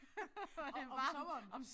Om om sommeren